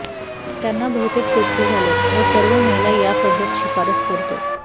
त्यांना बहुतेक तृप्त झाले व सर्व महिला या पद्धत शिफारस करतो